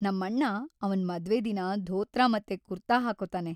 ನಮ್ಮಣ್ಣ ಅವ್ನ ಮದ್ವೆ‌ ದಿನ ಧೋತ್ರ ಮತ್ತೆ ಕುರ್ತಾ ಹಾಕ್ಕೋತಾನೆ.